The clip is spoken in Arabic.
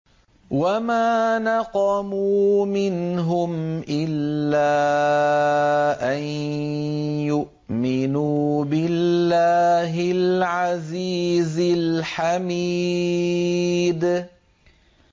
وَمَا نَقَمُوا مِنْهُمْ إِلَّا أَن يُؤْمِنُوا بِاللَّهِ الْعَزِيزِ الْحَمِيدِ